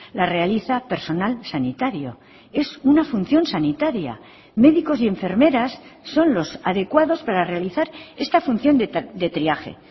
la realiza personal sanitario es una función sanitaria médicos y enfermeras son los adecuados para realizar esta función de triaje